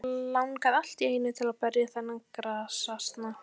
Langaði allt í einu til að berja þennan grasasna.